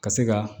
Ka se ka